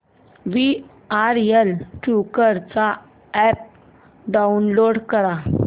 VRL travels चा app download कर